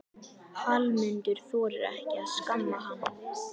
Hallmundur þorir ekki að skamma hann.